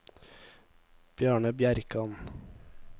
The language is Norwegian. Bjarne Bjerkan